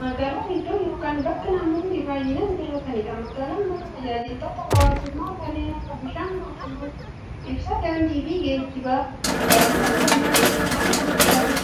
Magaalan iddoo yookiin bakka namoonni baay'inaan jiraataniidha. Magaalan bakka taajajilootni hawwaasummaa kanneen akka; bishaan qulqulluu, ibsaa, daandiifi geejjiba, taajajila fayyaa, Mana baruumsaafi